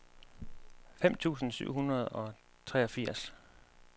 fem tusind syv hundrede og treogfirs